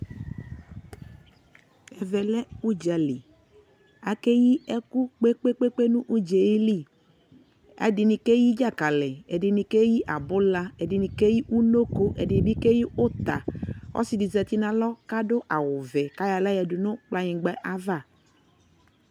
ɛvɛ lɛ ʋdzali, akɛyi ɛkʋ kpekpekpe nʋ ʋdzali, ɛdini kɛyi dzakali, ɛdini kɛyi abʋla, ɛdinikɛyiʋnɔkɔ, ɛdini bi kɛyi ʋta, ɔsii di zati nʋalɔ kʋadʋ awʋ vɛ kʋayɔ alayadʋ nʋ kplayingba aɣa